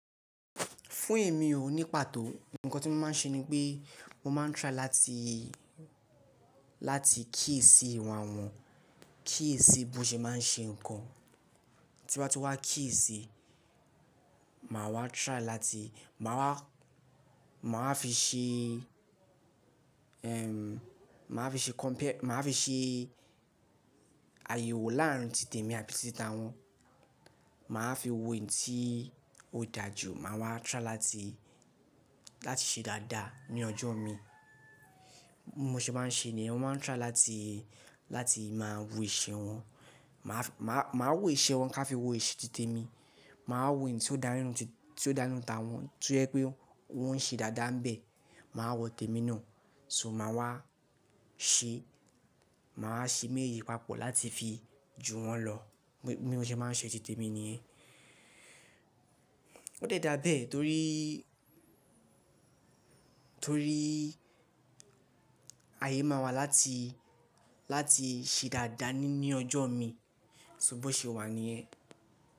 Fún èmi ò ní pàtó. Ǹkan tí mo máa ń ṣe ní pé mo máa ń try láti, láti kíyèsi ìwà wọn, kíyèsi bó ṣe máa ń ṣe ǹkan. Tí m bá ti wá kíyèsi, màá wá try láti, màá wá, màá wá fi ṣe, màá fi ṣe compare, màá fi ṣe àyẹ̀wò láàrin tí tẹmi àti tí tawọn. Màá fi wo èyí tí ó dà jù, màá wá try láti, láti ṣe dáadáa ní ọjọ́ mi. Mo ṣe máa ń ṣe ni yen mo máa ń try láti, láti máa wo ìṣe wọn. Màá fi, màá, màá wo ìṣe wọn ká fi wo ìṣe tí tẹmi. Màá wo èyí tí ó dá nínú ti, tí ó dá nínú tawọn, to yé pé wọ́n ṣe dáadáa ńbẹ, màá wọ tẹmi náà. So màá wá ṣe, màá ṣe méyi papọ̀ láti fi ju wọ́n lọ. Mi, mo ṣe máa ń ṣe tí tẹmi níyen. Ó de dáa bẹ́ẹ̀ torí, torí ayé máa wà láti, láti ṣe dáadáa ni, ní ọjọ́ mi. Ṣó bó ṣe wà ní yẹn?